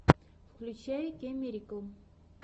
включай кейммирикл